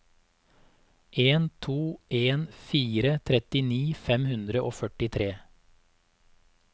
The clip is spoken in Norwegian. en to en fire trettini fem hundre og førtitre